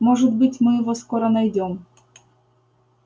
может быть мы его скоро найдём